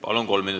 Palun!